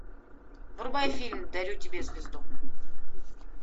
врубай фильм дарю тебе звезду